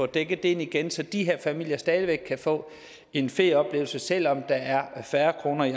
dækket ind igen så de her familier stadig væk kan få en ferieoplevelse selv om der er færre kroner i